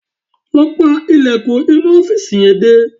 Lọ pa ilẹ̀kùn inú ọ́fìsì yẹn dé